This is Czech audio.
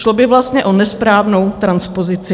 Šlo by vlastně o nesprávnou transpozici.